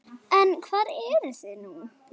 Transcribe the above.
En hvar eruð þið nú?